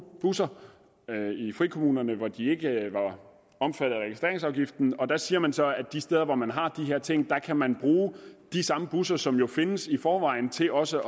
busser i frikommunerne hvor de ikke var omfattet af registreringsafgiften og der siger man så at de steder hvor man har de her ting kan man bruge de samme busser som jo findes i forvejen til også